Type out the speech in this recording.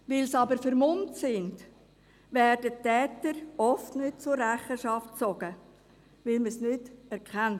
Weil sie jedoch vermummt sind, werden die Täter oft nicht zur Rechenschaft gezogen, weil man sie nicht erkennt.